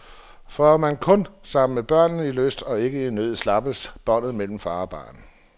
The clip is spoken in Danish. For er man kun sammen med børnene i lyst, og ikke i nød, slappes båndet mellem far og barn.